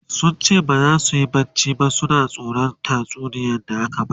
sunce baza suyi barci ba suna tsoran tatsuniyar da aka Basu